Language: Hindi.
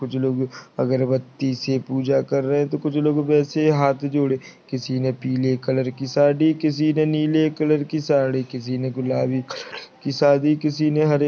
कुछ लोग अगरबत्ती से पूजा कर रहे हे तो कुछ लोग वैसे ही हाथ जोड़े किसी ने पिले कलर की साड़ी किसी ने नीले कलर की साड़ी किसी ने गुलाबी कलर की साड़ी किसी ने हरे--